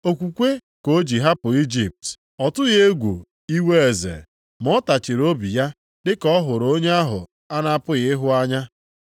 Okwukwe ka ọ ji hapụ Ijipt. Ọ tụghị egwu iwe eze, ma ọ tachịrị obi ya dịka ọ hụrụ onye ahụ a na-apụghị ịhụ anya.